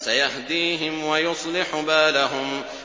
سَيَهْدِيهِمْ وَيُصْلِحُ بَالَهُمْ